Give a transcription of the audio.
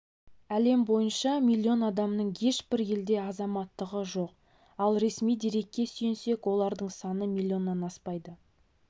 әлем бойынша миллион адамның ешбір елде азаматтығы жоқ ал ресми дерекке сүйенсек олардың саны миллионнан аспайды